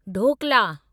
dhokla